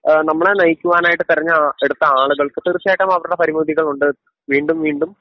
ഏഹ് നമ്മളെ നയിക്കുവാനായിട്ട് തെരഞ്ഞെടുത്ത ആളുകൾക്ക് തീർച്ചയായിട്ടും അവരുടെ പരിമിതികളുണ്ട് വീണ്ടും വീണ്ടും